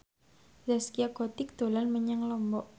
Zaskia Gotik dolan menyang Lombok